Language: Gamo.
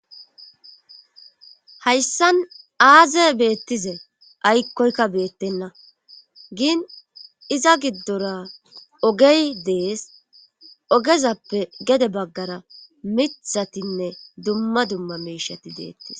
hayssan aaze beettize aykkoykka beettenna giin iza giddora ogey dees ogezappe gede baggara mithatinne dumma dumma meshati deettes